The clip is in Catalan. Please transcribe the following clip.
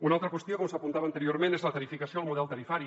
una altra qüestió com s’apuntava anteriorment és la tarifació el model tarifari